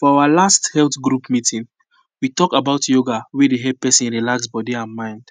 for our last health group meeting we talk about yoga wey dey help person relax body and mind